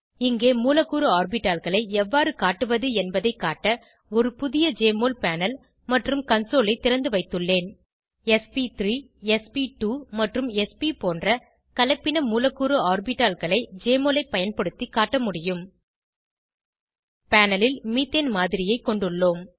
இங்கே மூலக்கூறு ஆர்பிட்டால்களை எவ்வாறு காட்டுவது என்பதை காட்ட ஒரு புதிய ஜெஎம்ஒஎல் பேனல் மற்றும் கன்சோல் ஐ திறந்துவைத்துள்ளேன் ஸ்ப்3 ஸ்ப்2 மற்றும் ஸ்ப் போன்ற கலப்பின மூலக்கூறு ஆர்பிட்டால்களை ஜெஎம்ஒஎல் ஐ பயன்படுத்தி காட்ட முடியும் பேனல் ல் மீத்தேன் மாதிரியை கொண்டுள்ளோம்